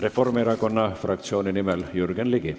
Reformierakonna fraktsiooni nimel Jürgen Ligi.